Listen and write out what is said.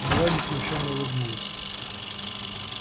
молани смущённо улыбнулась